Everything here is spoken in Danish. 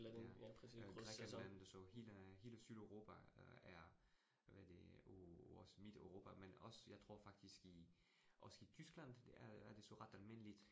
Ja, øh Grækenland det så hele hele Sydeuropa øh er hvad det og også Midteuropa, men også jeg tror faktisk i også i også i Tyskland, er det så ret almindeligt